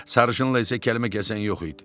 Sarışınla isə kəlmə kəsən yox idi.